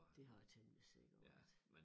Det har det temmelig sikkert været